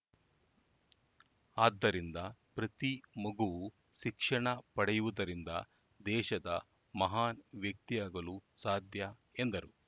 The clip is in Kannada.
ಆದ್ದರಿಂದ ಪ್ರತಿ ಮಗುವೂ ಶಿಕ್ಷಣ ಪಡೆಯುವುದರಿಂದ ದೇಶದ ಮಹಾನ್‌ ವ್ಯಕ್ತಿಯಾಗಲು ಸಾಧ್ಯ ಎಂದರು